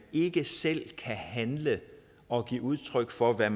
ikke selv kan handle og give udtryk for hvad